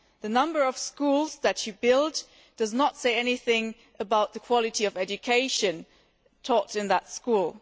The number of schools that you build does not say anything about the quality of education taught in those schools.